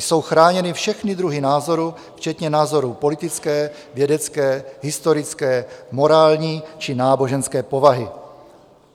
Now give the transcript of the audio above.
Jsou chráněny všechny druhy názorů včetně názorů politické, vědecké, historické, morální či náboženské povahy.